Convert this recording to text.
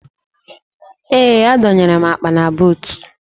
Ee, adọnyere m akpa na buutu